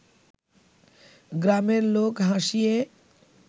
গ্রামের লোক হাসিয়ে